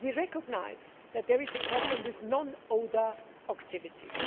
We recognise that there is a problem with non ODA activities.